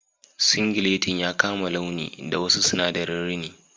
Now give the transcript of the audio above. Singilettin ya kama launi da wasu sinadarin rini..